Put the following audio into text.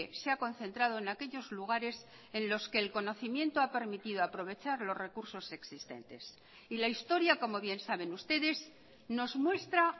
se ha concentrado en aquellos lugares en los que el conocimiento ha permitido aprovechar los recursos existentes y la historia como bien saben ustedes nos muestra